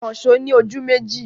Ìkànṣọ́ ni ojú méjì.